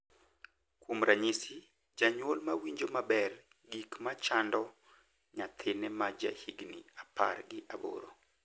Kuom ranyisi, janyuol ma winjo maber gik ma chando nyathine ma jahigni apar gi aboro